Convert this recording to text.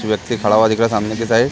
व्यक्ति खड़ा हुआ दिख रहा है सामने की साइड --